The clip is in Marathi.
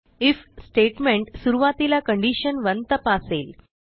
आयएफ स्टेटमेंट सुरूवातीला कंडिशन 1 तपासेल